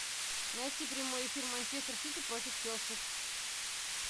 найти прямой эфир манчестер сити против челси